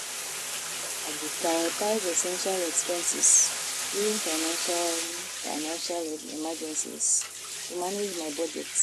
I go prioritize essential expenses during financial financial emergencies to manage my budget.